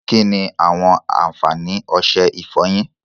Kínni àwọn àǹfààní ọsẹ ìfọyín?